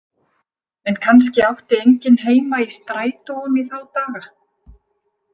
En kannski átti enginn heima í strætóum í þá daga.